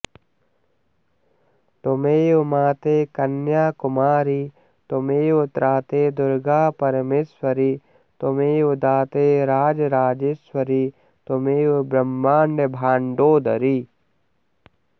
त्वमेव माते कन्याकुमारि त्वमेव त्राते दुर्गापरमेश्वरि त्वमेव दाते राजराजेश्वरि त्वमेव ब्रह्माण्ड भाण्डोदरि